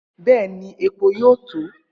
Bẹẹni, epo yoo to.